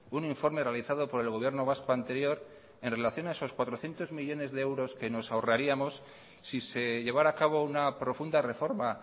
un informe realizado por el gobierno vasco anterior en relación a esos cuatrocientos millónes de euros que nos ahorraríamos si se llevara a cabo una profunda reforma